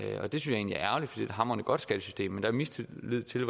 er et hamrende godt skattesystem men der er mistillid til